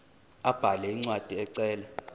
abhale incwadi ecela